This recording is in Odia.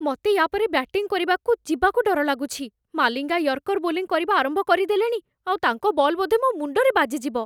ମତେ ୟା'ପରେ ବ୍ୟାଟିଂ କରିବାକୁ ଯିବାକୁ ଡର ଲାଗୁଛି । ମାଲିଙ୍ଗା ୟର୍କର ବୋଲିଂ କରିବା ଆରମ୍ଭ କରିଦେଲେଣି ଆଉ ତାଙ୍କ ବଲ୍ ବୋଧେ ମୋ ମୁଣ୍ଡରେ ବାଜିଯିବ ।